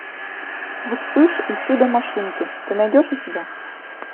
вспыш и чудо машинки ты найдешь у себя